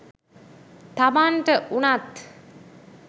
තමන්ට වුනත්